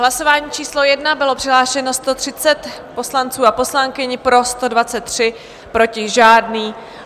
Hlasování číslo 1, bylo přihlášeno 130 poslanců a poslankyň, pro 123, proti žádný.